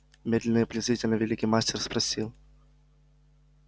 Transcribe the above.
медленно и презрительно великий мастер спросил